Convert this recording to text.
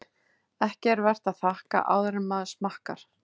Ekki er vert að þakka áður en maður smakkar.